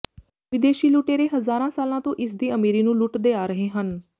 ਵਿਦੇਸ਼ੀ ਲੁਟੇਰੇ ਹਜ਼ਾਰਾਂ ਸਾਲਾਂ ਤੋਂ ਇਸਦੀ ਅਮੀਰੀ ਨੂੰ ਲੁਟਦੇ ਆ ਰਹੇ ਹਨ